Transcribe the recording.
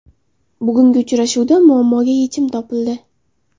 Bugungi uchrashuvda muammoga yechim topildi”.